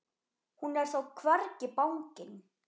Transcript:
Hún er þó hvergi bangin.